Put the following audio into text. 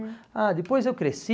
Ah, depois eu cresci...